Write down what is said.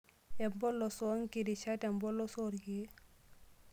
Empolos oonkirishat tempolos oorkiek.